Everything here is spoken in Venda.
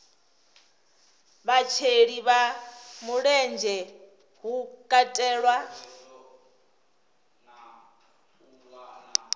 vhasheli vha mulenzhe hu katelwa